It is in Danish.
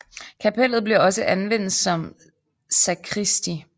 Kapellet blev også anvendt som sakristi